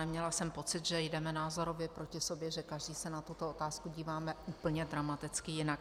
Neměla jsem pocit, že jdeme názorově proti sobě, že každý se na tuto otázku díváme úplně dramaticky jinak.